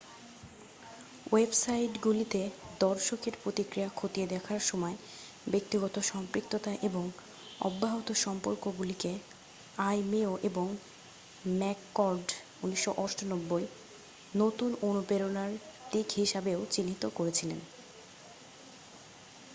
"ওয়েবসাইটগুলিতে দর্শকের প্রতিক্রিয়া খতিয়ে দেখার সময় "ব্যক্তিগত সম্পৃক্ততা" এবং "অব্যাহত সম্পর্ক "গুলিকে আইমেয় এবং ম্যাককর্ড 1998 নতুন অনুপ্রেরণার দিক হিসাবেও চিহ্নিত করেছিলেন।